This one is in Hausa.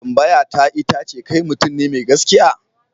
Tambayata ita ce kai mutum ne mai gaskiya?